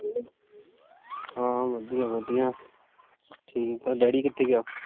ਹਮ ਵਧੀਆ-ਵਧੀਆ। ਠੀਕ ਆ, daddy ਕਿੱਥੇ ਗਿਆ?